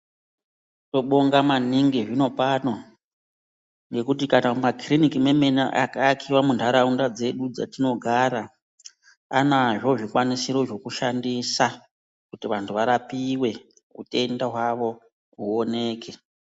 Tinobonga maningi zvinopano ngekuti kana mumakitiniki mwemene akaakiwa muntaraunda dzedu dzatinogara vanazvo zvikwanisiro zvekushandisa kuti vantu varapiwe utenda hwawo huoneke.